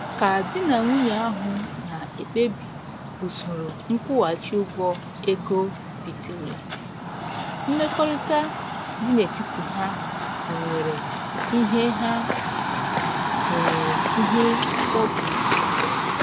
Ka di na nwunye ahụ na-ekpebi usoro nkwụghachi ụgwọ ego bitere, mmekọrịta dị n'etiti ha nwewere ihe ha nwewere ihe mkpọbiụkwụ